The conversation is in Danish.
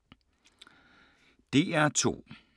DR2